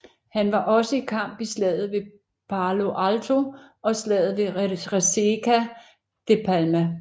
Han var også i kamp i Slaget ved Palo Alto og slaget ved Resaca de la Palma